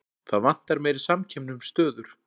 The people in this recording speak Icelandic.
Það vantar meiri samkeppni um stöður